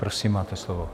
Prosím, máte slovo.